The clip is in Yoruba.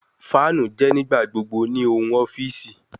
Fanu jẹ nigbagbogbo ni ohun ọfiisi